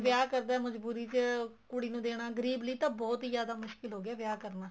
ਵਿਆਹ ਕਰਦਾ ਹੈ ਮਜਬੂਰੀ ਚ ਕੁੜੀ ਨੂੰ ਦੇਣਾ ਗਰੀਬ ਲਈ ਤਾਂ ਬਹੁਤ ਹੀ ਜਿਆਦਾ ਮੁਸ਼ਕਿਲ ਹੋ ਗਿਆ ਹੈ ਵਿਆਹ ਕਰਨਾ